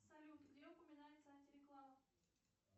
салют где упоминается антиреклама